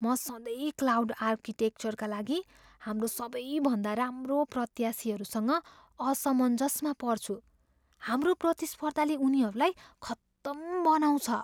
म सधैँ क्लाउड आर्किटेक्चरका लागि हाम्रो सबै भन्दा राम्रो प्रत्याशीहरूसँग असमञ्जसमा पर्छु। हाम्रो प्रतिस्पर्धाले उनीहरूलाई खतम बनाउँछ।